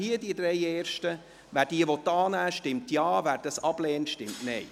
Wer diese annehmen will, stimmt Ja, wer dies ablehnt, stimmt Nein.